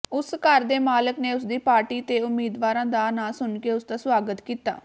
ਉਸ ਘਰ ਦੇ ਮਾਲਕ ਨੇ ਉਸਦੀ ਪਾਰਟੀ ਤੇ ਉਮੀਦਵਾਰ ਦਾ ਨਾਂ ਸੁਣਕੇ ਉਸਦਾ ਸੁਆਗਤ ਕੀਤਾ